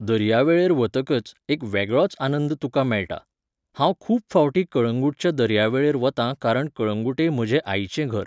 दर्यावेळेर वतकच एक वेगळोच आनंद तुका मेळटा. हांव खूब फावटीं कळंगूटच्या दर्यावेळेर वतां कारण कळंगूटे म्हजे आईचें घर